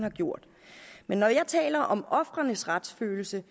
har gjort men når jeg taler om ofrenes retsfølelse